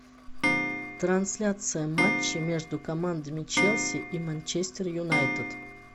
трансляция матча между командами челси и манчестер юнайтед